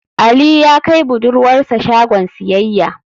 Ali ya kai budurwar sa shagon siyayya.